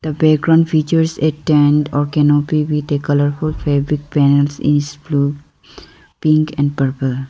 the background features a tent or canopy with a colourful fabric panels is blue pink and purple.